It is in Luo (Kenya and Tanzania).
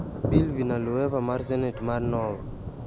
Bill Villanueva mar Senate mar Nov.